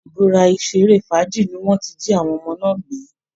Ibi ìṣeré fàájì ni wọ́n ti jí àwọn ọmọ náà gbé